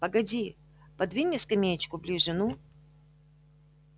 погоди подвинь мне скамеечку ближе ну